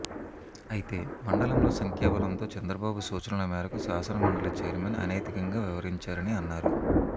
అయితే మండలంలో సంఖ్యా బలంతో చంద్రబాబు సూచనల మేరకు శాసనమండలి చైర్మన్ అనైతికంగా వ్యవహరించారని అన్నారు